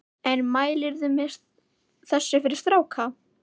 En mælirðu með þessu fyrir stráka?